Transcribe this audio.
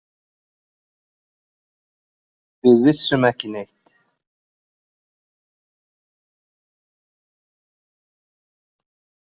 Við vissum ekki neitt.